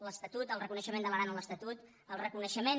l’estatut el reconeixement de l’aran a l’estatut el reconeixement